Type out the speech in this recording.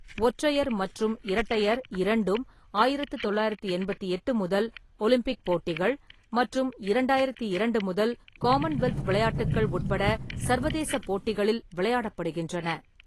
ஒற்றையர் மற்றும் இரட்டையர் இரண்டும் ஆயிரத்து தொள்ளாயிரத்து எண்பத்தெட்டு முதல் ஒலிம்பிக் போட்டிகள் மற்றும் இரண்டாயிரத்து இரண்டு முதல் காமன்வெல்த் விளையாட்டுக்கள் உட்பட சர்வதேச போட்டிகளில் விளையாடப்படுகின்றன.